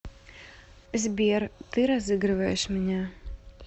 сбер ты разыгрываешь меня